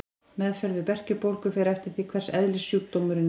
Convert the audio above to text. Meðferð við berkjubólgu fer eftir því hvers eðlis sjúkdómurinn er.